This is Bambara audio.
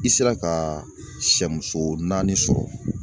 I sera ka siyɛmuso naani sɔrɔ.